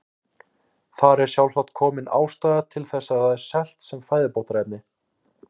Þar er sjálfsagt komin ástæða þess að það er selt sem fæðubótarefni.